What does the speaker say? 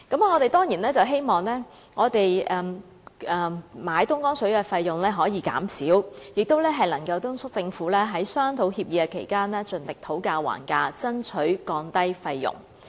我們當然希望購買東江水的費用可以減少，也敦促政府在商討協議期間盡力討價還價，爭取降低費用。